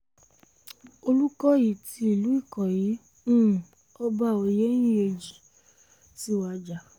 olùkọ́yí ti ìlú ikọyí um ọba oyenyẹnji ti wájà